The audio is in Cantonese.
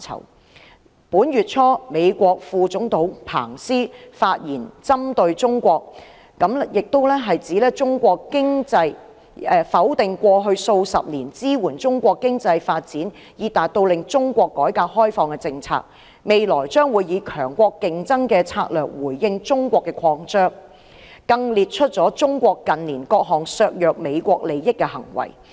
在本月初，美國副總統彭斯發言針對中國，否定過去數十年支援中國經濟發展以達到令中國改革開放的政策，未來將以強國競爭的策略回應中國擴張，更列出中國近年各項削弱美國利益的行為。